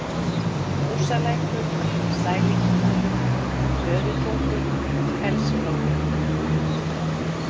Músalækur, Sælingsdalur, Töðutungur, Fellsflói